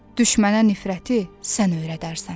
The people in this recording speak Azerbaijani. Düşmənə nifrəti sən öyrədərsən.